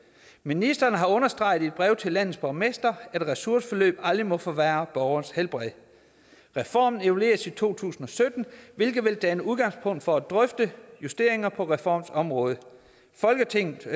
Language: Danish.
ministeren har understreget i et brev til landets borgmestre at ressourceforløb aldrig må forværre borgerens helbred reformen evalueres i to tusind og sytten hvilket vil danne udgangspunkt for at drøfte justeringer på reformens område folketinget